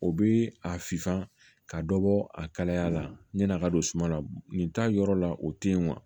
O bɛ a fifa ka dɔ bɔ a kalaya la yan'a ka don suma na nin t'a yɔrɔ la o tɛ yen wa